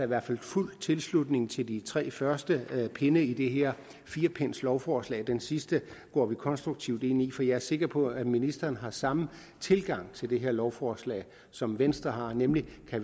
hvert fald fuld tilslutning til de tre første pinde i det her firepindslovforslag den sidste går vi konstruktivt ind i for jeg er sikker på at ministeren har samme tilgang til det her lovforslag som venstre har nemlig at